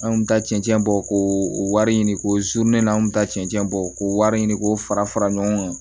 An kun bɛ taa cɛncɛn bɔ ko o wari ɲini ko n'an kun taa cɛncɛn bɔ k'o wari ɲini k'o fara fara fara ɲɔgɔn kan